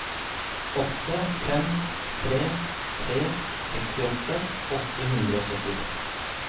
åtte fem tre tre sekstiåtte åtte hundre og syttiseks